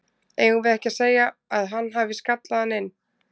Eigum við ekki að segja að hann hafi skallað hann inn?